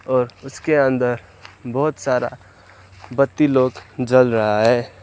और उसके अंदर बहुत सारा बत्ती लोग जल रहा है।